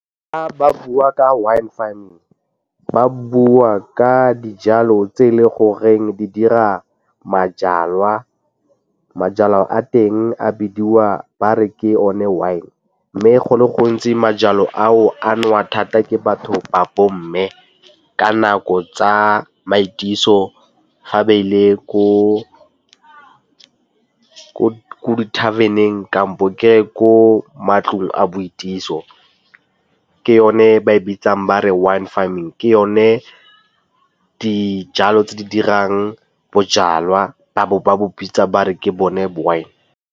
Ba bua ka wine farming ba bua ka dijalo tse e le goreng di dira majalwa. Majalwa a teng a bidiwa ba re ke one wine mme go le gontsi majalwa ao a nowa thata ke batho ba bo mme ka nako tsa maitiso ga ba ile ko di-tarven-eng kampo ke ye ko matlong a boikatiso ke yone ba e bitsang ba re wine farming. Ke yone dijalo tse di dirang bojalwa ba bo ba bo bitsa ba re ke bone wine.